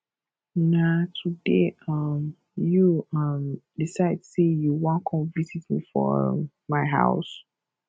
na today um you um decide sey you wan come visit me for um my house